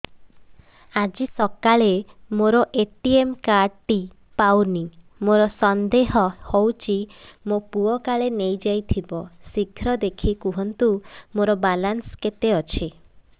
ଆଜି ସକାଳେ ମୋର ଏ.ଟି.ଏମ୍ କାର୍ଡ ଟି ପାଉନି ମୋର ସନ୍ଦେହ ହଉଚି ମୋ ପୁଅ କାଳେ ନେଇଯାଇଥିବ ଶୀଘ୍ର ଦେଖି କୁହନ୍ତୁ ମୋର ବାଲାନ୍ସ କେତେ ଅଛି